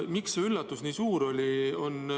Miks see üllatus nii suur oli?